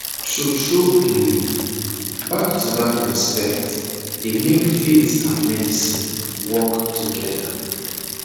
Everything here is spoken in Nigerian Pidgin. tru tru um back to back respect dey make faith and medicine work togeda